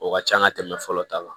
O ka ca an ka tɛmɛ fɔlɔ ta kan